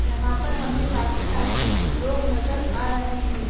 यहां पर हमें काफी सारी लोग नजर आ रहे हैं।